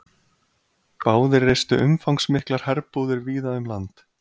Báðir reistu umfangsmiklar herbúðir víða um land.